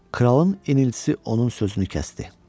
Kralın iniltisi onun sözünü kəsdi.